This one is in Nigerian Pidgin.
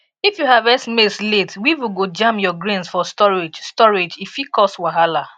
if you harvest maize late weevil go jam your grains for storage storage e fit cause wahala